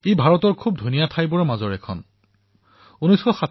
এয়া ভাৰতবৰ্ষৰ সুন্দৰ স্থানসমূহৰ ভিতৰত এক অন্যতম স্থান